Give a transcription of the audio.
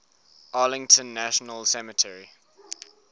arlington national cemetery